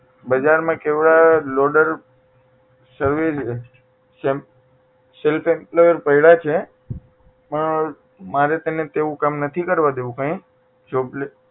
બજાર માં કેવા self employer પડ્યા છે પણ મારે તેને એવું કામ નથી કરવા દેવું કાંઈ job લે